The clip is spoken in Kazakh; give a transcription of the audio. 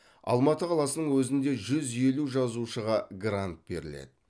алматы қаласының өзінде жүз елу жазушыға грант беріледі